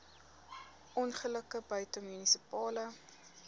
ongelukke buite munisipale